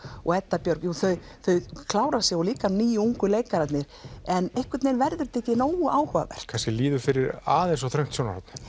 og Edda Björg þau þau klára sig og líka nýju ungu leikararnir en einhvern veginn verður þetta ekki nógu áhugavert kannski líður fyrir aðeins of þröngt sjónarhorn